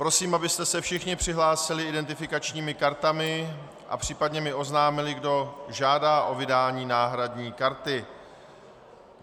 Prosím, abyste se všichni přihlásili identifikačními kartami a případně mi oznámili, kdo žádá o vydání náhradní karty.